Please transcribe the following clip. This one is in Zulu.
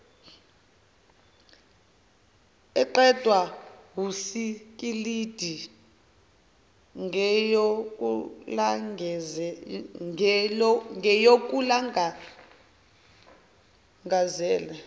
eqedwa wusikilidi ngeyokulangazela